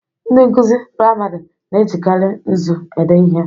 Ndị nkụzi priamarị na-ejikari nzu ede ihe.